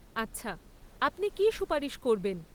আচ্ছা, আপনি কী সুপারিশ করবেন?